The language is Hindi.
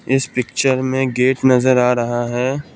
इस पिक्चर में गेट नजर आ रहा है।